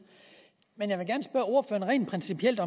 men jeg vil rent principielt